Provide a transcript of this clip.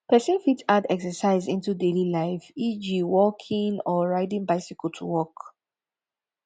person fit add exercise into daily life eg walking or riding bicycle to work